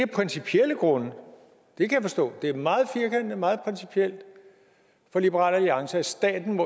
principielle grunde jeg kan forstå at det er meget firkantet og meget principielt for liberal alliance at staten